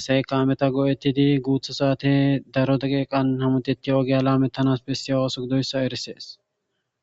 asay kaameta go7ettidi guutha saate daro dageeqan hamudetti ogiya laamettanas besse ooso gidoyssa erisees